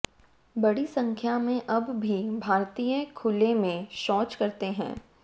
बड़ी संख्या में अब भी भारतीय खुले में शौच करते हैं